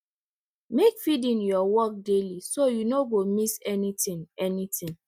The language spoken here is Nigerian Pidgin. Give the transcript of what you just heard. make feeding your work daily so you no go miss anything anything